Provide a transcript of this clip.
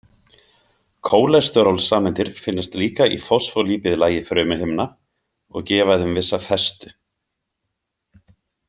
Kólesterólsameindir finnast líka í fosfólípíðlagi frumuhimna og gefa þeim vissa festu.